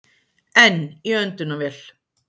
Enn í öndunarvél